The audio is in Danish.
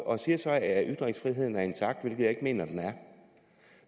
og siger så at ytringsfriheden er intakt hvilket jeg ikke mener den